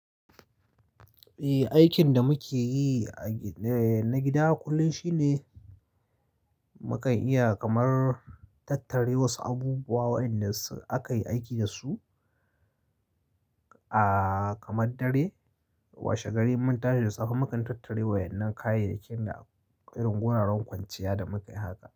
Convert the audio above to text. Eh, aikin da muke yi na gida kullum shine mu kan iya kamar tattare wasu abubuwa waɗanda aka yi aiki dasu. Kamar dare washe gari mun tashi da tsafe mukan tattare waɗannan kayayyakin da irin wuraren kwanciya da muka yi haka.